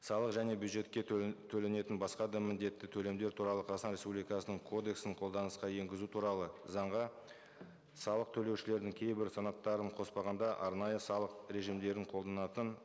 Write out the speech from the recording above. салық және бюджетке төленетін басқа да міндетті төлемдер туралы қазақстан республикасының кодексін қолданысқа енгізу туралы заңға салық төлеушілердің кейбір санаттарын қоспағанда арнайы салық режимдерін қолданатын